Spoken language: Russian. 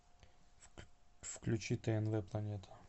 включи тнв планета